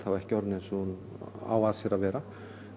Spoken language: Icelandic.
ekki orðin eins og hún á að sér að vera